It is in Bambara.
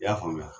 I y'a faamuya